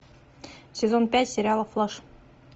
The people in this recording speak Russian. сезон пять сериала флэш